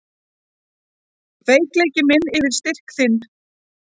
Veikleiki minn yfir styrk þinn.